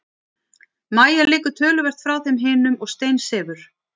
Mæja liggur töluvert frá þeim hinum og steinsefur.